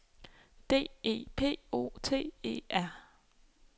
D E P O T E R